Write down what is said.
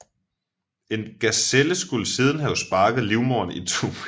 En gaselle skulle siden have sparket livmoderen itu